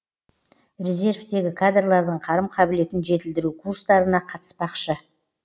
резервтегі кадрлардың қарым қабілетін жетілдіру курстарына қатыспақшы